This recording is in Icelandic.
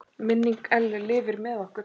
Minning Ellu lifir með okkur.